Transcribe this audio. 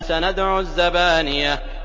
سَنَدْعُ الزَّبَانِيَةَ